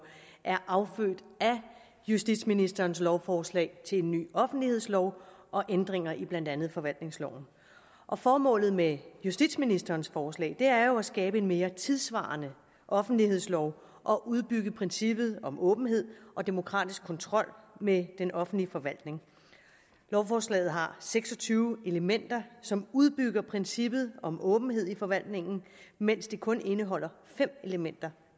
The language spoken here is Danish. er affødt af justitsministerens lovforslag til en ny offentlighedslov og ændringer i blandt andet forvaltningsloven formålet med justitsministerens forslag er jo at skabe en mere tidssvarende offentlighedslov og udbygge princippet om åbenhed og demokratisk kontrol med den offentlige forvaltning lovforslaget har seks og tyve elementer som udbygger princippet om åbenhed i forvaltningen mens det kun indeholder fem elementer